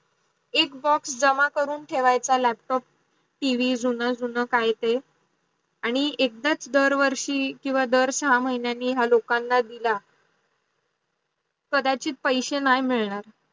एक box झाला करून ठेवायचा अस लॅपटॉप टीव्ही जुन जुन काही काही आणी एकदा दार वर्षी किव्वा दार चार महिन्यांनी हा लोकांना दिला कदाचित पैसे नाही मिडनार